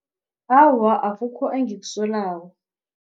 Awa, akukho engikusolako.